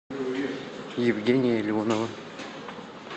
евгения леонова